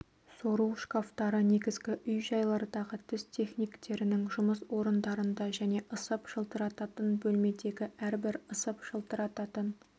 сору шкафтары негізгі үй-жайлардағы тіс техниктерінің жұмыс орындарында және ысып жылтырататын бөлмедегі әрбір ысып жылтырататын